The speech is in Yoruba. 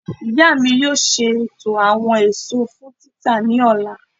Iya mi yoo ṣeto awọn eso fun tita ni ọla.